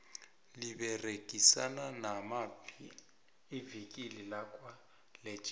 liberegisana namaphi ivikile lakwa legit